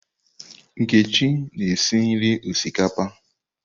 Nkechi na-esi nri osikapa.